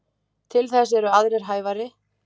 Til þess eru aðrir hæfari.